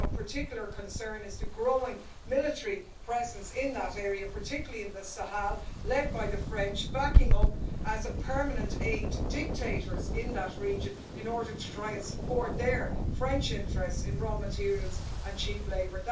I think of particular concern is the growing military presence in that area, particularly in the Sahel, led by the French, backing up as a permanent aid to dictators in that region in order to try and support their French interests in raw materials and cheap labour.